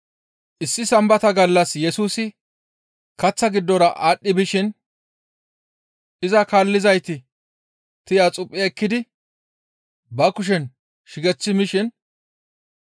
Issi Sambata gallas Yesusi kaththa giddora aadhdhi bishin iza kaallizayti tiya xuphi ekkidi ba kushen shigechchi mishin,